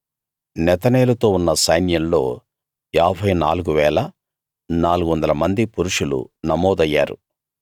నెతనేలుతో ఉన్న సైన్యంలో 54 400 మంది పురుషులు నమోదయ్యారు